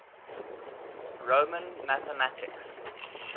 roman mathematics